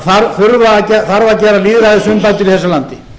það þarf að gera lýðræðisumbætur í þessu landi